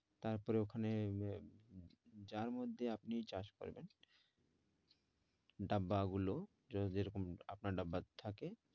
তারপর ওখানে আহ যার মধ্যে আপনি চাষ করবেন ডাব্বা গুলো যেরকম এ রকম আপনার ডাব্বা থাকে